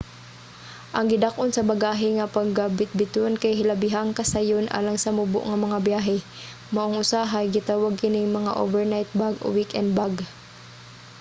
ang gidak-on sa bagahe nga pagabitbiton kay hilabihang kasayon alang sa mubo nga mga byahe maong usahay gitawag kining mga overnight bag o weekend bag